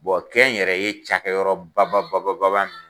kɛ n yɛrɛ ye cakɛyɔrɔ baba baba baba